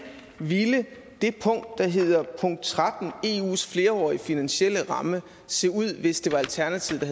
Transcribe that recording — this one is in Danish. ville det punkt der hedder punkt tretten eus flerårige finansielle ramme se ud hvis det var alternativet